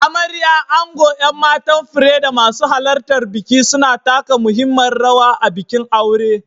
Amarya, ango, 'yan matan fure, da masu halartar biki suna taka muhimmiyar rawa a bikin aure.